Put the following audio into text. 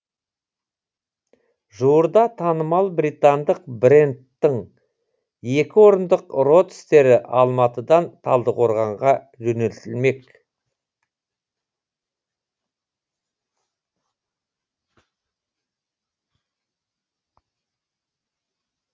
жуырда танымал британдық брендтің екі орындық родстері алматыдан талдықорғанға жөнелтілмек